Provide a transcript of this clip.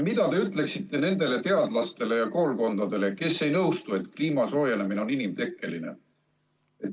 Mida te ütleksite nendele teadlastele ja koolkondadele, kes ei nõustu, et kliima soojenemine on inimtekkeline?